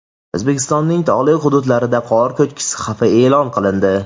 O‘zbekistonning tog‘li hududlarida qor ko‘chkisi xavfi e’lon qilindi.